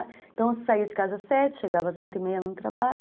Então, eu saía de casa às sete, chegava às oito e meia no trabalho.